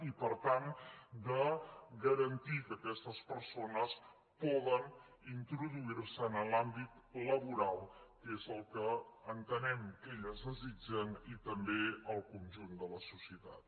i per tant garantir que aquestes persones poden introduir se en l’àmbit laboral que és el que entenem que elles desitgen i també el conjunt de la societat